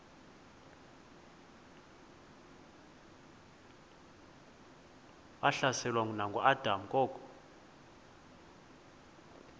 wahlaselwa nanguadam kok